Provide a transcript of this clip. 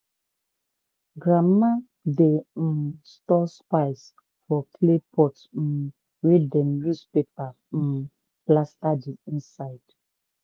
grandma dey um store spice for clay pot um wey dem use paper um plaster the inside.